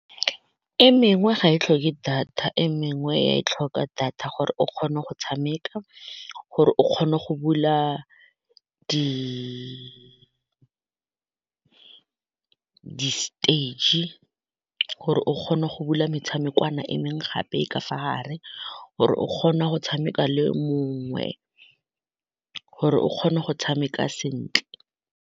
E mengwe ga e tlhoke data, e mengwe ya e tlhoka data gore o kgone go tshameka gore o kgone go bula di-stage gore o kgona go bula metshameko kana e mengwe gape ka fa gare, gore o kgoe go tshameka le mongwe gore o kgone go tshameka sentle.